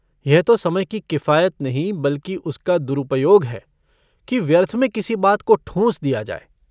यह तो समय की किफायत नहीं बल्कि उसका दुरुपयोग है कि व्यर्थ में किसी बात को ठूँस दिया जाय।